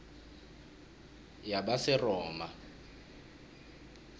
yabaseroma